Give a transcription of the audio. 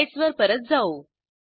स्लाईडसवर परत जाऊ